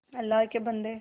अल्लाह के बन्दे